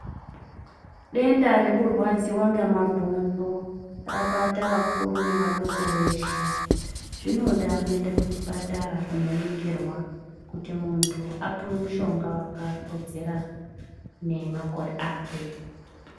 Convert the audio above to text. Denda rekurwadziwa ngemabhonzo rabata vakuru nevadoko veshe. Zvinoda kuenda kuchipatara kunoningirwa, kuti muntu apiwe mushonga wakakodzera nemakore akwe.